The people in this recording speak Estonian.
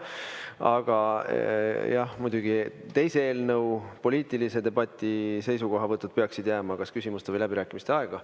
Aga jah, muidugi, teise eelnõu poliitilise debati seisukohavõtud peaksid jääma kas küsimuste või läbirääkimiste aega.